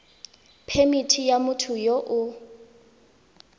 phemithi ya motho yo o